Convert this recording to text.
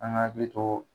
An ka hakili to